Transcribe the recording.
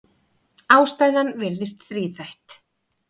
Ástæðan virðist þríþætt.